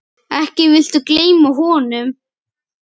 Ekki viltu gleyma honum?